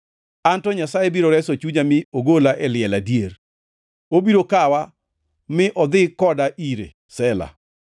Anto Nyasaye biro reso chunya mi ogola e liel adier, obiro kawa mi odhi koda ire. Sela